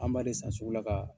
An b'ale san sugu la ka